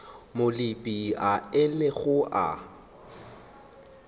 moo leepile a ilego a